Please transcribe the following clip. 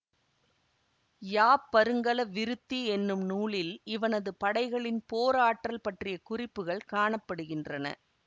யாப்பருங்கல விருத்தி என்னும் நூலில் இவனது படைகளின் போர் ஆற்றல் பற்றிய குறிப்புக்கள் காண படுகின்றன